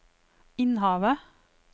Innhavet